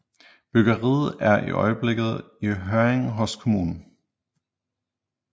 Byggeriet er i øjeblikket i høring hos kommunen